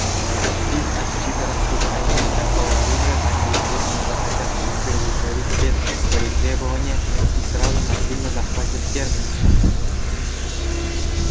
их аппетиты растут а имея такое оружие они естественно захотят удовлетворить все свои требования и сразу насильственно захватят терминус